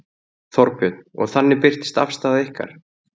Þorbjörn: Og þannig birtist afstaða ykkar?